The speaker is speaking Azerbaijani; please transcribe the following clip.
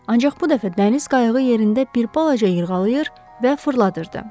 Ancaq bu dəfə dəniz qayığı yerində bir balaca yırğalayırdı və fırladırdı.